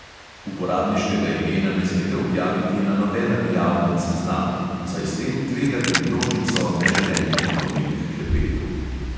Uporabniškega imena ne smete objaviti na nobenem javnem seznamu, saj s tem tvegate množico neželenih povabil h klepetu.